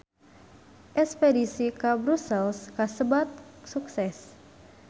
Espedisi ka Brussels kasebat sukses